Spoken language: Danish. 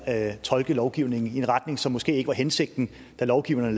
at tolke lovgivningen i en retning som måske ikke var hensigten da lovgivningen